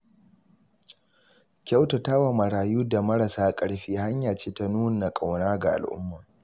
Kyautata wa marayu da marasa ƙarfi hanya ce ta nuna ƙauna ga al’umma.